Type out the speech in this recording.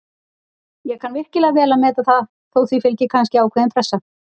Ég kann virkilega vel að meta það, þó því fylgi kannski ákveðin pressa.